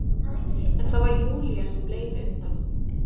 En það var Júlía sem leit undan.